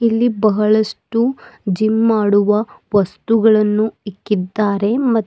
ಇಲ್ಲಿ ಬಹಳಷ್ಟು ಜಿಮ್ ಮಾಡುವ ವಸ್ತುಗಳನ್ನು ಇಕ್ಕಿದ್ದಾರೆ ಮ--